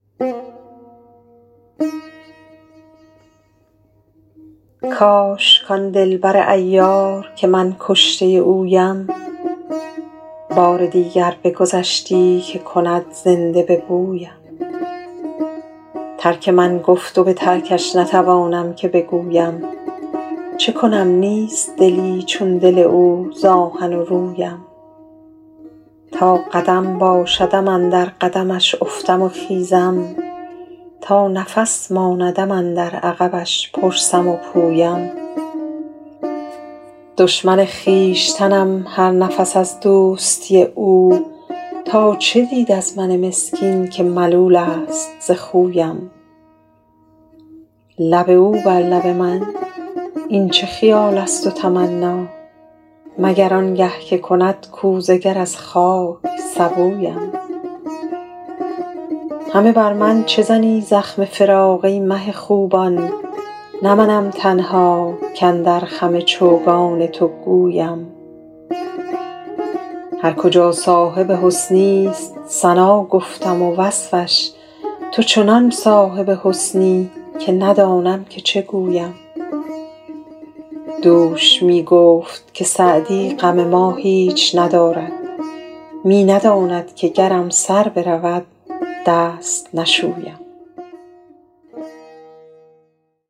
کاش کان دل بر عیار که من کشته اویم بار دیگر بگذشتی که کند زنده به بویم ترک من گفت و به ترکش نتوانم که بگویم چه کنم نیست دلی چون دل او ز آهن و رویم تا قدم باشدم اندر قدمش افتم و خیزم تا نفس ماندم اندر عقبش پرسم و پویم دشمن خویشتنم هر نفس از دوستی او تا چه دید از من مسکین که ملول است ز خویم لب او بر لب من این چه خیال است و تمنا مگر آن گه که کند کوزه گر از خاک سبویم همه بر من چه زنی زخم فراق ای مه خوبان نه منم تنها کاندر خم چوگان تو گویم هر کجا صاحب حسنی ست ثنا گفتم و وصفش تو چنان صاحب حسنی که ندانم که چه گویم دوش می گفت که سعدی غم ما هیچ ندارد می نداند که گرم سر برود دست نشویم